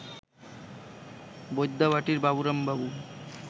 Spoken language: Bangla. বৈদ্যাবাটীর বাবুরাম বাবু